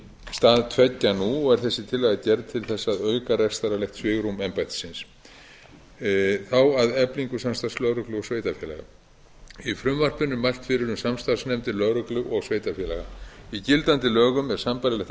stað tveggja nú er þessi tillaga gerð til þess að auka rekstrarlegt svigrúm embættisins þá að eflingu samstarfs lögreglu og sveitarfélaga í frumvarpinu er mælt fyrir um samstarfsnefndir lögreglu og sveitarfélaga í gildandi lögum er sambærilegt